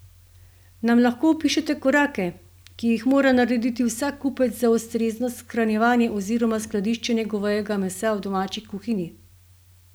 Nam lahko opišete korake, ki jih mora narediti vsak kupec za ustrezno shranjevanje oziroma skladiščenje govejega mesa v domači kuhinji?